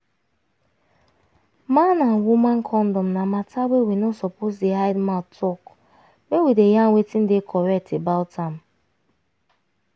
man and woman condom na matter wey we no suppose dey hide mouth talk make we yarn wetin dey correct about am